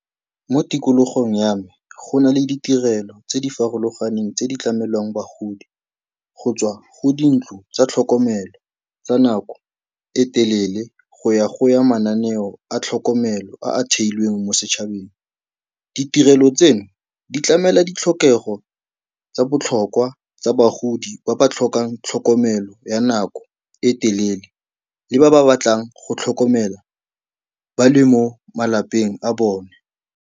Mo tikologong ya me go na le ditirelo tse di farologaneng tse di tlamelang bagodi, go tswa go dintlo tsa tlhokomelo tsa nako e telele go ya go ya mananeo a tlhokomelo a a theilweng mo setšhabeng. Ditirelo tseno di tlamela ditlhokego tsa botlhokwa tsa bagodi ba ba tlhokang tlhokomelo ya nako e telele le ba ba batlang go tlhokomelwa ba le mo malapeng a bone.